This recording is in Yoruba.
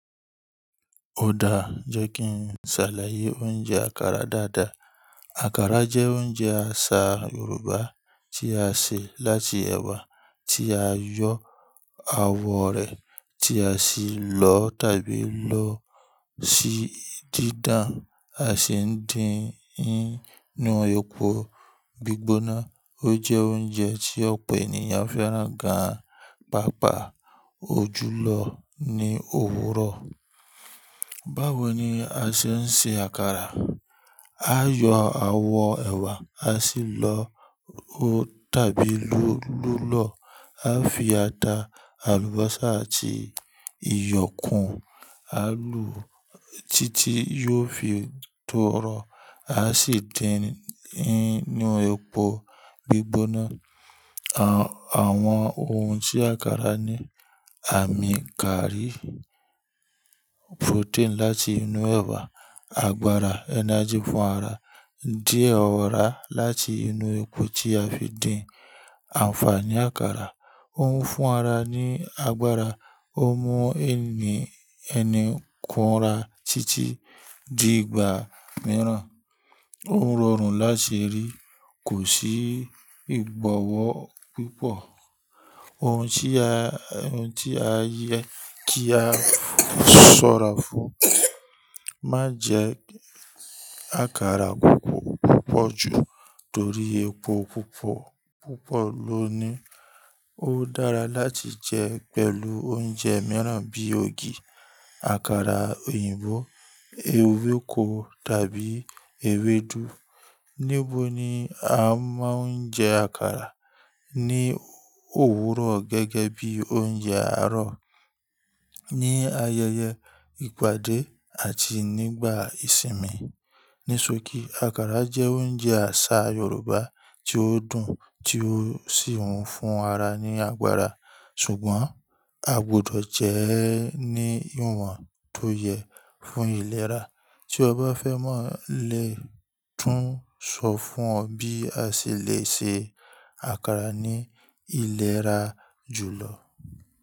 Ó dáa jẹ́ kí n ṣàlàyé oúnjẹ àkàrà dáadáa. Àkàrà jẹ́ oúnjẹ àṣà Yorùbá tí a ṣẹ̀ láti ẹ̀wà tí a yọ awọ rẹ̀ tí a sì lọ tàbí lọ sí dídán a sì ń dín ín nínu epo gbígbóná. Ó jẹ́ oúnjẹ tí ọ̀pọ̀ ènìyàn fẹ́ràn gan páápàá ojù lọ ní òwúrọ̀. Báwo ni a ṣe ń ṣe àkàrà? A yọ awọ ẹ̀wà, a sì lọ tàbí lọ lọ́ lọ. A fi ata, àlùbọ́sà àti iyọ̀kùn, àlù títí yóò fi tọrọ. A sì dín ín nínu epo gbígbóná. Àwọn ohun tí àkàrà ní àmì kárí, protein láti inú ẹ̀wà, agbára energy fún ara, díẹ̀ ọ̀rá láti inú epo tí a fi dín. Ànfàní àkàrà, ó ń fún ara ní agbára, ó mú ẹni kùnúra títí di ìgbà mìíràn. Ó rọrùn láti rí, kò sí ìgbọ́wọ́ púpọ̀. Ohun tí a yẹ kí a ṣọ́ra fún, má jẹ àkàrà púpọ̀ púpọ̀ jù torí epo púpọ̀ púpọ̀ ló ní. Ó dára láti jẹ pẹ̀lú oúnjẹ mìíràn bí i ogi, àkàrà òyìnbó, ewéko tàbí ewédú. Níbo ni a máa ń jẹ àkàrà? Ní òwúrọ̀ gẹ́gẹ́ bí i oúnjẹ àárọ̀, ní ayẹyẹ ìpàdé àti nígbà ìsinmi. Níṣokí, àkàrà jẹ́ oúnjẹ àṣà Yorùbá tí ó dùn tí ó sì ń fún ara ní agbára. Ṣùgbọ́n a gbudọ̀ jẹ ẹ́ ní ìwọ̀n tó yẹ fún ìlera. Tí ọ bá fẹ́ mọ̀ lè tún sọ fún ọ bí a ṣè lè ṣe àkàrà ní ìlera jùlọ.